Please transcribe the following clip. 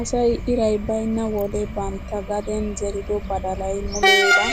Asay iray baynna wode bantta gaden zerido badalay muleefa